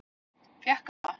Fékk hann það?